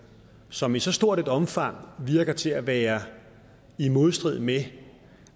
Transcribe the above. som i så stort et omfang virker til at være i modstrid med